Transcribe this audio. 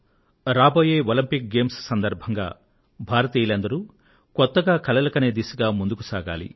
రాబోయే ఒలంపిక్స్ సందర్భంగా భారతీయులందరూ కొత్తగా కలలు కనే దిశగా ముందుకు సాగాలి